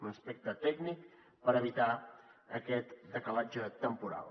un aspecte tècnic per evitar aquest decalatge temporal